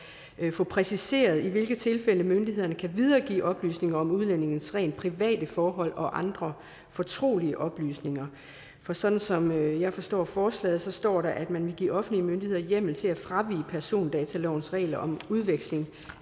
få præciseret i hvilke tilfælde myndighederne kan videregive oplysninger om udlændinges rent private forhold og andre fortrolige oplysninger for som som jeg forstår forslaget så står der at man vil give offentlige myndigheder hjemmel til at fravige persondatalovens regler om udveksling